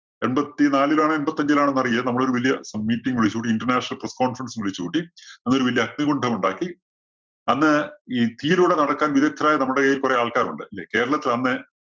എമ്പത്തി നാലിലാണോ, എമ്പത്തഞ്ചിലാണോ എന്നറിയില്ല. നമ്മുളൊരു വലിയ meetting വിളിച്ചു കൂട്ടി. International Press Conference ഉം വിളിച്ചുകൂട്ടി. അന്നൊരു വലിയ അഗ്നികുണ്ഡം ഉണ്ടാക്കി അന്ന് ഈ തീയിലൂടെ നടക്കാൻ വിദഗ്ദ്ധരായ നമ്മുടെ കയ്യിൽ കുറെ ആൾക്കാര് ഉണ്ട്. അല്ലേ? കേരളത്തിൽ അന്ന്